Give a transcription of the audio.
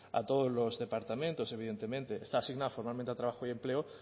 a todos los departamentos evidentemente está asignado formalmente a trabajo y empleo